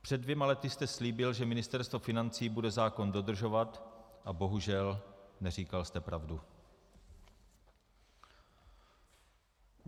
Před dvěma lety jste slíbil, že Ministerstvo financí bude zákon dodržovat, a bohužel, neříkal jste pravdu.